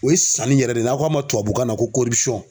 O ye sanni yɛrɛ de ye n'a ko a ma tubabu kan na ko